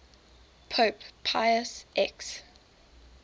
pope pius x